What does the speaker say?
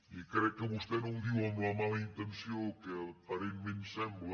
i crec que vostè no ho diu amb la mala intenció que aparentment sembla